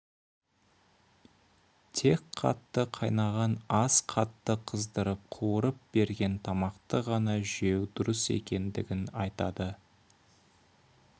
тек қатты қайнаған ас қатты қыздырып қуырып берген тамақты ғана жеу дұрыс екенін айтады